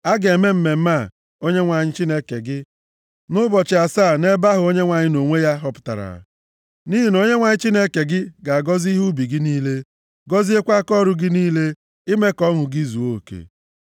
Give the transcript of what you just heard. A ga-eme mmemme a nye Onyenwe anyị Chineke gị ụbọchị asaa nʼebe ahụ Onyenwe anyị nʼonwe ya họpụtara. Nʼihi na Onyenwe anyị Chineke gị ga-agọzi ihe ubi gị niile, gọziekwa akaọrụ gị niile, ime ka ọṅụ gị zuo oke.